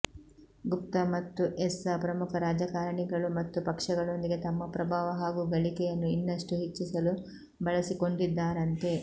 ಗುಪ್ತಾ ಮತ್ತು ಎಸ್ಸಾ ಪ್ರಮುಖ ರಾಜಕಾರಣಿಗಳು ಮತ್ತು ಪಕ್ಷಗಳೊಂದಿಗೆ ತಮ್ಮ ಪ್ರಭಾವ ಹಾಗೂ ಗಳಿಕೆಯನ್ನು ಇನ್ನಷ್ಟು ಹೆಚ್ಚಿಸಲು ಬಳಸಿಕೊಂಡಿದ್ದಾರಂತೆ